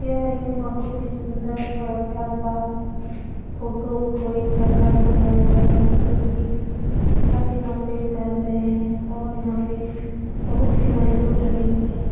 यह एक बहुत ही सुन्दर और अच्छा सा फोटो कोई घर का दिखाया गया है जोकि छत यहाँ पे ढल रहे हैं और यहाँ पे बहुत ही मजदूर लगे हुए हैं।